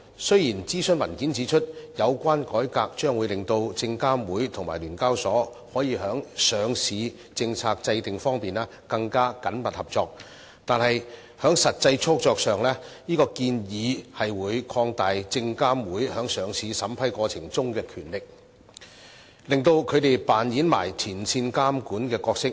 雖然諮詢文件指出，有關改革將會令證監會和聯交所在上市政策制訂方面更緊密合作，但在實際操作上，這建議會擴大證監會在上市審批過程中的權力，令他們扮演前線監管的角色。